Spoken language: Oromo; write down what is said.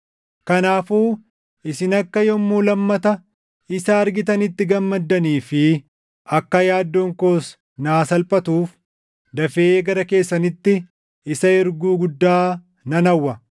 Kanaafuu isin akka yommuu lammata isa argitanitti gammaddanii fi akka yaaddoon koos naa salphatuuf dafee gara keessanitti isa erguu guddaa nan hawwa.